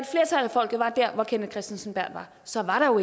folket var der hvor herre kenneth kristensen berth er så var der jo